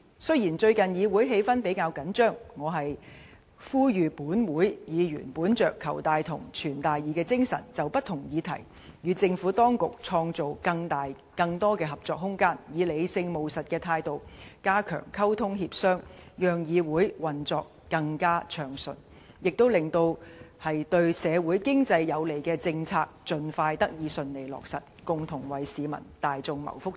雖然最近議會氣氛比較緊張，我呼籲本會議員本着"求大同，存大異"的精神，就不同議題與政府當局創造更大、更多的合作空間，以理性務實的態度，加強溝通協商，讓議會運作更暢順，亦令對社會經濟有利的政策盡快得以順利落實，共同為市民大眾謀福祉。